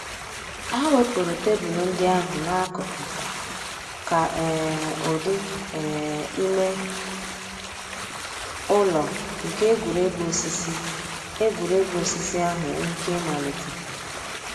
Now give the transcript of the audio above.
Hà wépụ̀rù tebụl ńdí àhụ̀ n'àkùkò kà um ǔ́dị̀ um ìmè ǔlọ̀ nke ègwè́ré́gwụ̀ òsìsì ègwè́ré́gwụ̀ òsìsì àhụ̀ nwee íké ị̀màlítè.